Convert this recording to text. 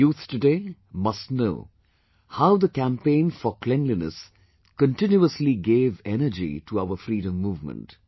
Our youth today must know how the campaign for cleanliness continuously gave energy to our freedom movement